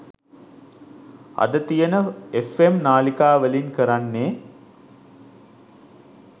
අද තියෙන ෆ්ම් නාලිකා වලින් කරන්නේ